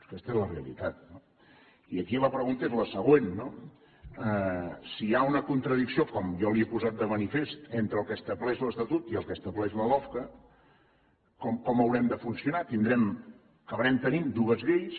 aquesta és la realitat no i aquí la pregunta és la següent no si hi ha una contradicció com jo li he posat de manifest entre el que estableix l’estatut i el que estableix la lofca com haurem de funcionar tindrem acabarem tenint dues lleis